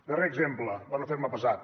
darrer exemple per no fer me pesat